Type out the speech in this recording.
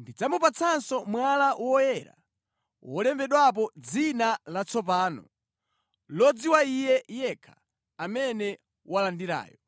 Ndidzamupatsanso mwala woyera wolembedwapo dzina latsopano, lodziwa iye yekha amene walandirayo.’ ”